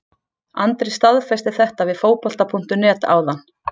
Andri staðfesti þetta við Fótbolta.net áðan.